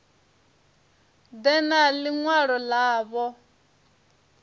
ḓe na ḽi ṅwalo ḽavho